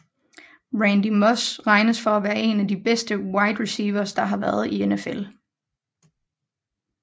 Randy Moss regnes for at være en af de bedste Wide Reciever der har været i NFL